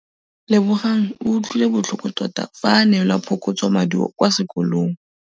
Lebogang o utlwile botlhoko tota fa a neelwa phokotsômaduô kwa sekolong.